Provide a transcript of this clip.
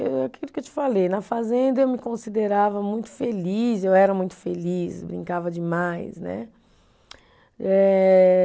Aquilo que eu te falei, na fazenda eu me considerava muito feliz, eu era muito feliz, brincava demais, né? Eh